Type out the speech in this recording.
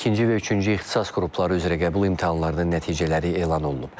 İkinci və üçüncü ixtisas qrupları üzrə qəbul imtahanlarının nəticələri elan olunub.